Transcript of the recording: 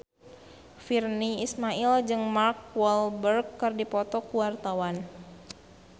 Virnie Ismail jeung Mark Walberg keur dipoto ku wartawan